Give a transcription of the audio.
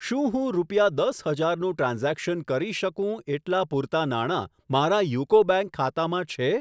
શું હું રૂપિયા દસ હજાર નું ટ્રાન્ઝેક્શન કરી શકું એટલાં પૂરતા નાણા મારા યુકો બેંક ખાતામાં છે?